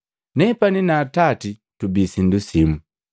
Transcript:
Nepani na Atati tubi sindu simu.”